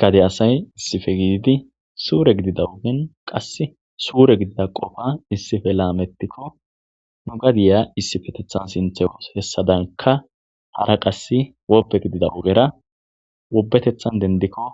Gade asay issife gididi suure gidida ugen qass suure gidida qofa issife laamettikko nu gadiya issifetethan sinthe hessadanka hara qass wopbe gidida ugera wobetethan dendikko